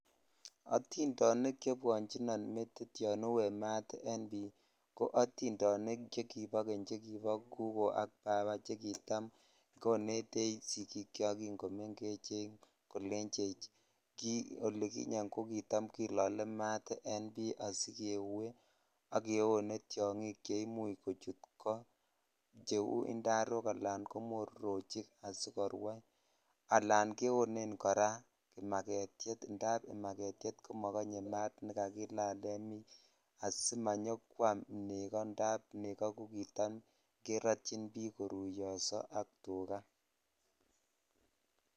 Otindonik che bwochinon metit yan aue mat en bii koatindonik chekibo keny chekibo gugoo ak baba che kitam konetech sigichok kin kotakimengechen koechech ki olikinye ko kitam kilole maat en bii asikeue ak ketone tyongik che imuch kochut koocheu indarok ala komororochik asikorwai ala ketone kora kimafetyet indap imagetyet ko mokonye maat nekakilal en bii asimanyokwam nekoo indap nekoo ko kitam kerotyin bii koruyoso ak tukaa.